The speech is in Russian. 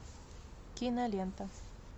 кинолента